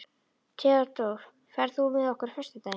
Theódór, ferð þú með okkur á föstudaginn?